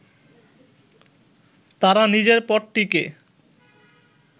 তারা নিজের পদটিকে